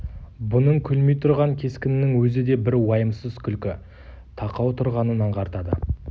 бұның күлмей тұрған кескінінің өзі де бір уайымсыз күлкі тақау тұрғанын аңғартады